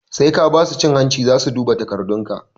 Sai ka basu cin hanci zasu duba takardun ka